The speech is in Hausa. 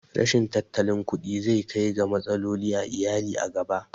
Rashin tattalin kuɗi zai kai ga matsaloli a iyali a gaba